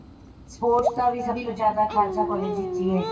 sports ਦਾ ਵੀ ਸਭੀ ਤੋਂ ਜਿਆਦਾ ਖਾਲਸਾ college ਵਿੱਚ ਈ ਏ